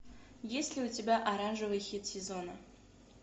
есть ли у тебя оранжевый хит сезона